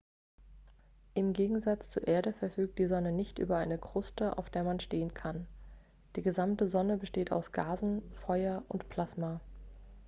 im gegensatz zur erde verfügt die sonne nicht über eine kruste auf der man stehen kann die gesamte sonne besteht aus gasen feuer und plasma